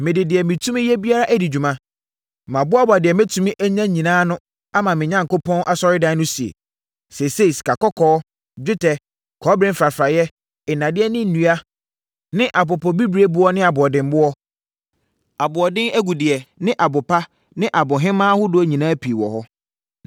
Mede deɛ metumi yɛ biara adi dwuma, maboaboa deɛ mɛtumi anya nyinaa ano ama me Onyankopɔn Asɔredan no sie. Seesei, sikakɔkɔɔ, dwetɛ, kɔbere mfrafraeɛ, nnadeɛ ne nnua ne apopobibirieboɔ ne aboɔdemmoɔ, aboɔden agudeɛ ne abopa ne abohemaa ahodoɔ nyinaa pii wɔ hɔ.